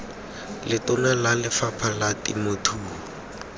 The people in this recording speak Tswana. letona la lefapha la temothuo